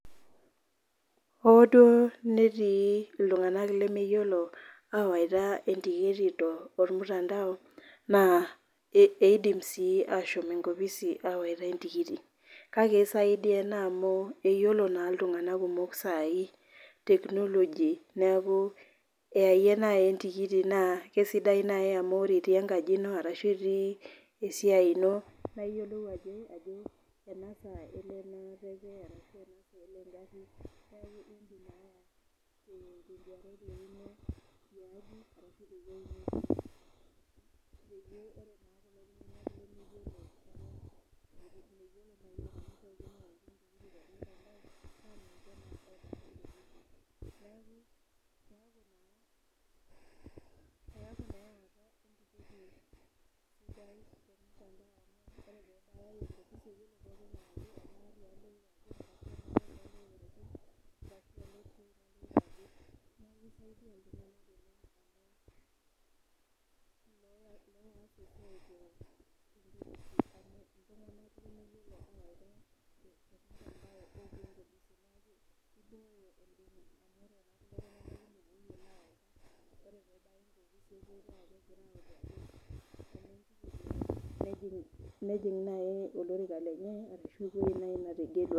hoo duoo netii itunganak lemeyiolo awaita entikiti tormutandao naa idim sii ashom enkopisi awaita entikiti kake isaidia amu eyie naaji entikiti naa kisidai naaji amu ore itii enkaji ino, arashu itii esiai ino, peyie ore naa kulo tunganak eton meyiolo neeku keeku naa ore pee eba enkopis nejing naa olorika lenye ashu eweji netegelua.